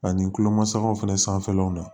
Ani tulomasamaw fana sanfɛlaw na